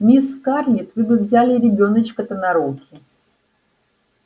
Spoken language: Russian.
мисс скарлетт вы бы взяли ребёночка-то на руки